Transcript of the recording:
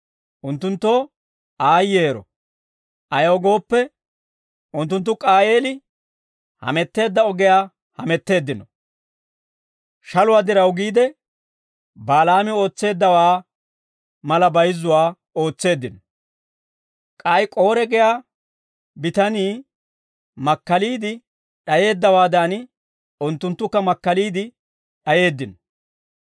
Unttunttoo aayyeero! Ayaw gooppe, unttunttu K'aayeeli hametteedda ogiyaa hametteeddino. Shaluwaa diraw giide, Balaami ootseeddawaa mala bayizzuwaa ootseeddino. K'ay K'oore giyaa bitanii makkaliide d'ayeeddawaadan, unttunttukka makkaliide d'ayeeddino.